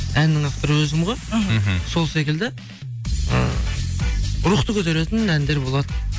әннің авторы өзім ғой мхм сол секілді ы рухты көтеретін әндер болады